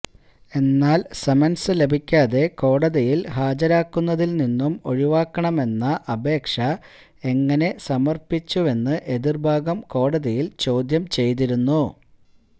എന്നാല് സമന്സ് ലഭിക്കാതെ കോടതിയില് ഹാജരാക്കുന്നതില് നിന്നും ഒഴിവാക്കണമെന്ന അപേക്ഷ എങ്ങനെ സമര്പ്പിച്ചുവെന്ന് എതിര്ഭാഗം കോടതിയില് ചോദ്യം ചെയ്തിരുന്നു